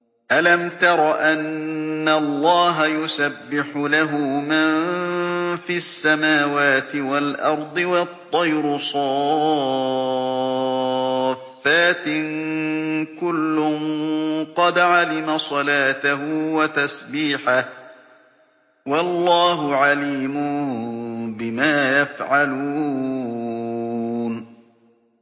أَلَمْ تَرَ أَنَّ اللَّهَ يُسَبِّحُ لَهُ مَن فِي السَّمَاوَاتِ وَالْأَرْضِ وَالطَّيْرُ صَافَّاتٍ ۖ كُلٌّ قَدْ عَلِمَ صَلَاتَهُ وَتَسْبِيحَهُ ۗ وَاللَّهُ عَلِيمٌ بِمَا يَفْعَلُونَ